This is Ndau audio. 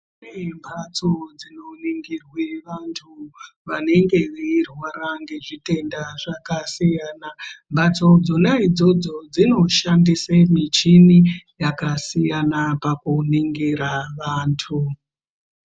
Kune mphatso dzinoningirwe vanthu vanenge veirwara ngezvitenda zvakasiyana mphatso dzona idzodzo dzinoshandisa michini yakasiyana pakuningira vanthu.